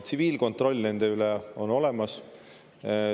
Tsiviilkontroll nende üle on olemas.